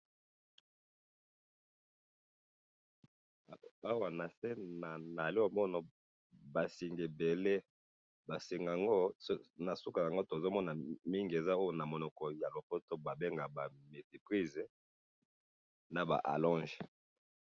Na moni biloko ya moto ba prises na ba allonges.